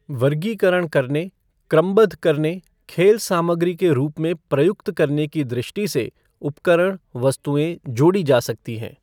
वर्गीकरण करने, क्रमबद्ध करने, खेल सामग्री के रूप में प्रयुक्त करने की दृष्टि से उपकरण, वस्तुऐं जोड़ी जा सकती हैं।